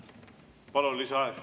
Palun, lisaaeg!